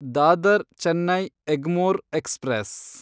Dadar Chennai Egmore express